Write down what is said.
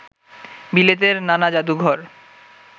বিলেতের নানা জাদুঘর